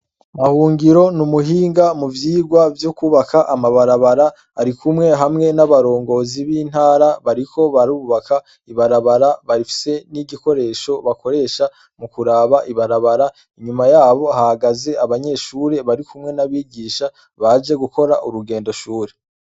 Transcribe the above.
Bahungiro n'ubuhinga muvyirwa vyo gukora amabarabara ,arikumwe hamwe n'abarongozi b'intara bariko barubaka ibarabara, bafise n'igikoresho bakoresha mukuraba ibarabara inyuma yabo hahagaze abanyeshure barikumwe n'abigisha, baje gukora urugendo shure.